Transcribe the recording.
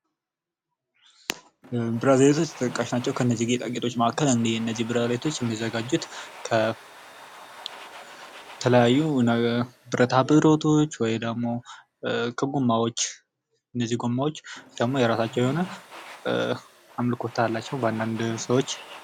ብራስሌቶች ተጠቃሽ ናቸዉ። ከእነዚህ ጌጣጌጦች ከብረታ ብረቶች ከጎማዎች እነዚህ ጎማዎች ደግሞ አምልኮት አላቸዉ በአንዳንድ ሰዎች።